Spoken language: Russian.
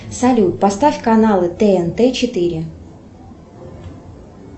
салют поставь каналы тнт четыре